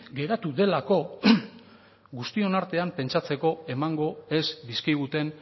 geratu delako guztion artean pentsatzeko emango ez dizkiguten